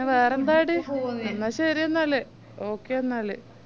വേറെന്താടി എന്നാ ശെരിയെന്നാല് okay എന്നാല്